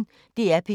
DR P1